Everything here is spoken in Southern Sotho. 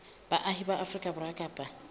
baahi ba afrika borwa kapa